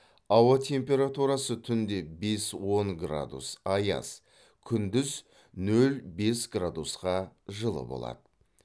ауа температурасы түнде бес он градус аяз күндіз нөл бес градусқа жылы болады